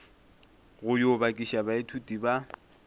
go yo bakiša baithuti ba